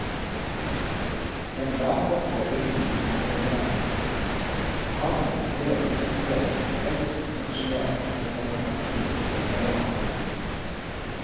Den lavvokste bygningen er gjestevennlig, og pateren fyller inngangsdøren med raus romslighet og velkomstsmil over hele ansiktet.